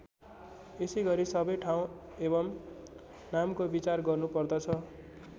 यसैगरी सबै ठाउँ एवं नामको विचार गर्नुपर्दछ।